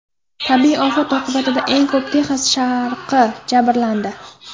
Tabiiy ofat oqibatida eng ko‘p Texas sharqi jabrlandi.